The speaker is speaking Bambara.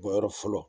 Bɔyɔrɔ fɔlɔ